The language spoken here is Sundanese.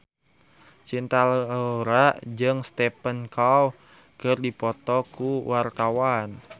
Cinta Laura jeung Stephen Chow keur dipoto ku wartawan